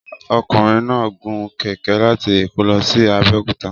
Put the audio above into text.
Ọkùnrin náà gun kẹ̀kẹ́ láti Èkó lọ sí Abẹ́òkúta.